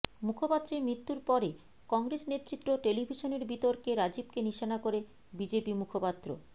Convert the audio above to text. মুখপাত্রের মৃত্যুর পরে কংগ্রেস নেতৃত্ব টেলিভিশনের বিতর্কে রাজীবকে নিশানা করে বিজেপি মুখপাত্র